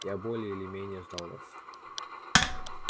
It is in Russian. я более или менее ждал вас